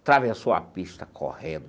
Atravessou a pista correndo.